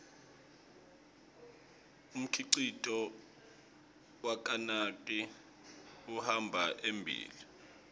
umkhicito wakanike uhamba embile